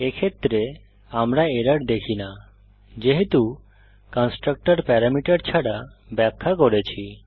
এক্ষেত্রে আমরা এরর দেখি না যেহেতু কন্সট্রাকটর প্যারামিটার ছাড়া ব্যাখ্যা করেছি